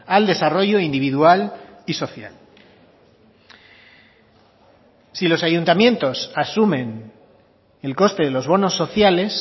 al desarrollo individual y social si los ayuntamientos asumen el coste de los bonos sociales